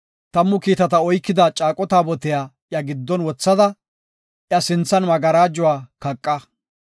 Tammu kiitata oykida Caaqo Taabotiya iya giddon wothada, iya sinthan magarajuwa kaqa.